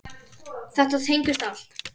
Þetta tengist allt.